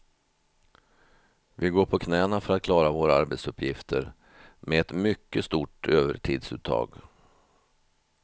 Vi går på knäna för att klara våra arbetsuppgifter, med ett mycket stort övertidsuttag.